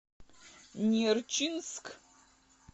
нерчинск